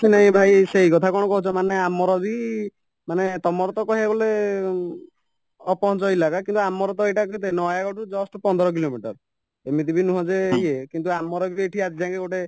ଭାଇ ସେଇ କଥା କ'ଣ କହୁଚ ମାନେ ଆମରବି ମାନେ ତମରତ କହିବାକୁ ଗଲେ ଅପହଞ୍ଚ କିନ୍ତୁ ଆମରତ ଏଇଟା କେତେ ନୟାଗଡରୁ just ପନ୍ଦର କିଲୋମିଟର ଏମିତିବି ନୁହଁ ଯେ ଇଏ କିନ୍ତୁ ଆମରବି ଆଜିଯାଏଙ୍କେ ଗୋଟେ